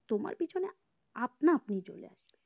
তোমার পেছনে আপনাআপনি চলে আসবে